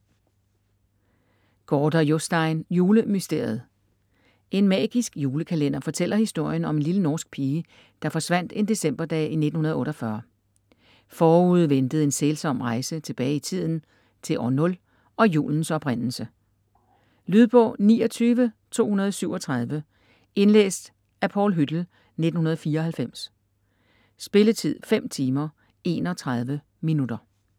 Gaarder, Jostein: Julemysteriet En magisk julekalender fortæller historien om en lille norsk pige, der forsvandt en decemberdag i 1948. Forude ventede en sælsom rejse tilbage i tiden - til år 0 og julens oprindelse. Lydbog 29237 Indlæst af Paul Hüttel, 1994. Spilletid: 5 timer, 31 minutter.